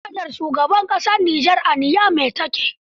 Fadar shugaban ƙasar Niger a Niamey ta ke.